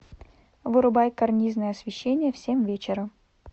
вырубай карнизное освещение в семь вечера